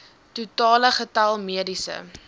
totale getal mediese